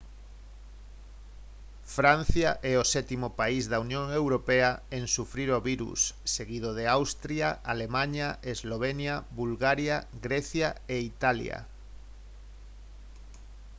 francia é o sétimo país da unión europea en sufrir o virus seguido de austria alemaña eslovenia bulgaria grecia e italia